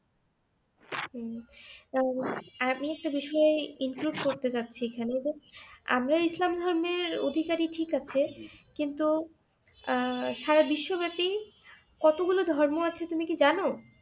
হম আমি একটা বিষয়ে include করতে যাচ্ছি এখানে যে আমরা ইসলাম ধর্মের অধিকারী ঠিক আছে কিন্ত আহ সারা বিশ্বব্যাপী কতগুলো ধর্ম আছে তুমি কি জানো?